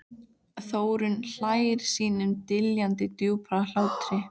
Þórunn hlær sínum dillandi djúpa hlátri.